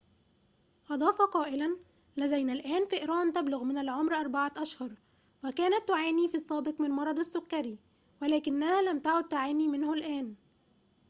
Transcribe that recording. أضاف قائلاً لدينا الآن فئران تبلغ من العمر 4 أشهر وكانت تعاني في السابق من مرض السكري ولكنها لم تعد تعاني منه الآن